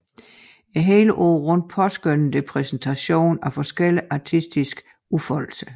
Hele året rundt påskønner det præsentationen af forskellige artistiske udfoldelser